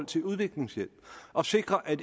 til udviklingshjælp at sikre at